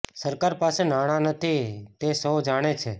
સરકાર પાસે નાણા નથી તૈ સૌ જાણે છે